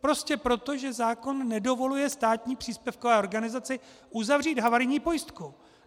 Prostě proto, že zákon nedovoluje státní příspěvkové organizaci uzavřít havarijní pojistku.